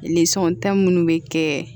Lisɔn ta minnu bɛ kɛ